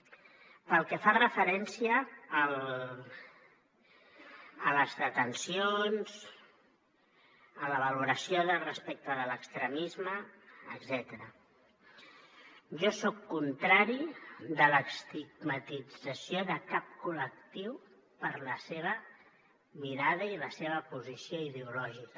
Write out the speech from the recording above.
pel que fa referència a les detencions en la valoració de respecte de l’extremisme etcètera jo soc contrari a l’estigmatització de cap col·lectiu per la seva mirada i la seva posició ideològica